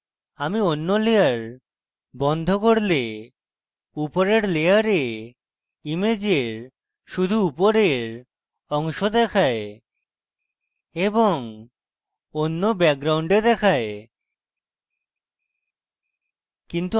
আমি and layer বন্ধ করলে উপরের layer ইমেজের শুধু উপরের অংশ দেখায় এবং and background দেখায়